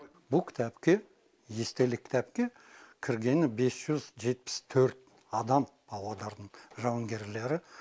бұл кітапке естелік кітапке кіргені бес жүз жетпіс төрт адам павлодардың жауынгерлері